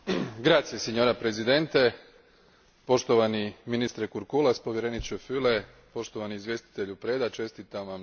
Poštovani ministre Kurkulas, povjereniče Füle, poštovani izvjestitelju Preda, čestitam Vam na trudu u podnošenju ovog izvješća.